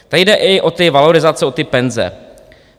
Tady jde i o ty valorizace, o ty penze.